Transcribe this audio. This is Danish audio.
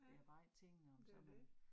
Ja. Men det jo det